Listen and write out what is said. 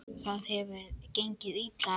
Það hefur gengið illa eftir.